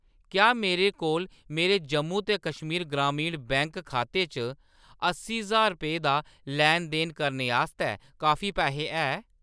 क्या मेरे कोल मेरे जम्मू ते कश्मीर ग्रामीण बैंक खाते च अस्सी ज्हार रपेऽ दा लैन-देन करने आस्तै काफी पैहे है ?